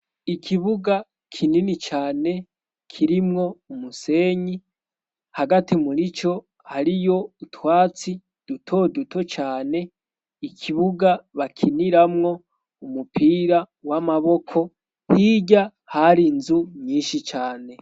Ikibuga kinini cane kirimwo umusenyi hagati murico hariyo utwatsi dutoduto cane ikibuga bakiniramwo umupira w'amaboko hirya hari inzu nyishi cane.